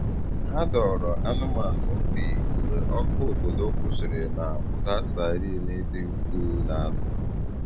Hà dọ̀ọrọ anụ́manụ obi mgbe ọkụ̀ obodo kwụsịrị̀ na ụda siren dị ukwuù na-ada.